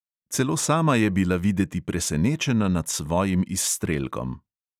Celo sama je bila videti presenečena nad svojim izstrelkom.